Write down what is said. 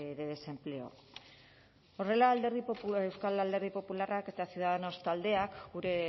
de desempleo horrela euskal alderdi popularrak eta ciudadanos taldeak gure